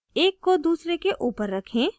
एक को दूसरे के ऊपर रखें